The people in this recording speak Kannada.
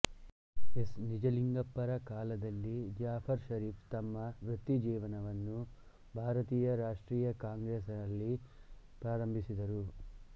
ಎಸ್ ನಿಜಲಿಂಗಪ್ಪರ ಕಾಲದಲ್ಲಿ ಜಾಫರ್ ಶರೀಫ್ ತಮ್ಮ ವೃತ್ತಿಜೀವನವನ್ನು ಭಾರತೀಯ ರಾಷ್ಟ್ರೀಯ ಕಾಂಗ್ರೆಸ್ನಲ್ಲಿ ಪ್ರಾರಂಭಿಸಿದರು